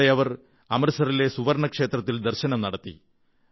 അവിടെ അവർ അമൃത്സറിലെ സുവർണ്ണക്ഷേത്രത്തിൽ ദർശനം നടത്തി